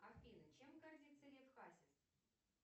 афина чем гордится лев хасис